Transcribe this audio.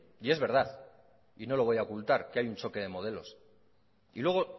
y es verdad y no lo voy a ocultar que hay un choque de modelos y luego